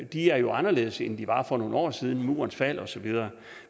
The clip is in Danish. de er jo anderledes end de var for nogle år siden efter murens fald osv